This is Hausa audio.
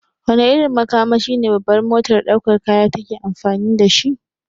Wane irin makamashi ne babbar motar daukar kaya take amfani dashi?